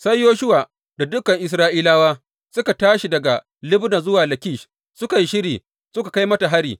Sai Yoshuwa da dukan Isra’ilawa suka tashi daga Libna zuwa Lakish; suka yi shiri suka kai mata hari.